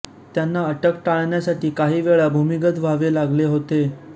त्यांना अटक टाळण्यासाठी काही वेळा भूमिगत व्हावे लागले होते